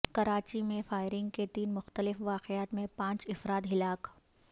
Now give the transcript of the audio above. کراچی میں فائرنگ کے تین مختلف واقعات میں پانچ افراد ہلاک